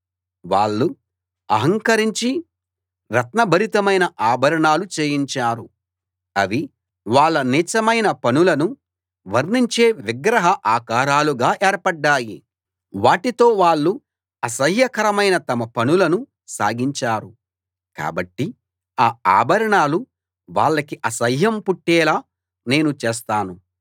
వాళ్ళు అహంకరించి రత్నభరితమైన ఆభరణాలు చేయించారు అవి వాళ్ళ నీచమైన పనులను వర్ణించే విగ్రహ ఆకారాలుగా ఏర్పడ్డాయి వాటితో వాళ్ళు అసహ్యకరమైన తమ పనులను సాగించారు కాబట్టి ఆ ఆభరణాలు వాళ్లకి అసహ్యం పుట్టేలా నేను చేస్తాను